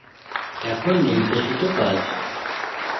এখন নির্দেশিত কাজ